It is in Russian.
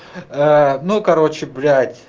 ну короче блять